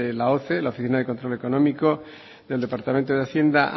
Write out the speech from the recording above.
la oce la oficina de control económico del departamento de hacienda